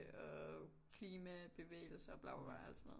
Og klimabevægelser bla bla bla og alt sådan noget